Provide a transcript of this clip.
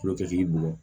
Foro kɛtigi bolo